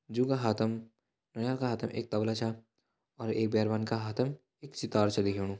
जू का हाथम नौनियाल का हाथम एक तबला छा और एक बैरवान के हाथम एक सितार छ दिखेणु।